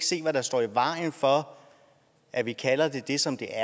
se hvad der står i vejen for at vi kalder det det som det er